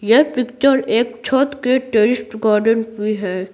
यह पिक्चर एक छत के टेरिस्ट गार्डन की है।